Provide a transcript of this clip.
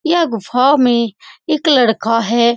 यह गुफा में एक लड़का है।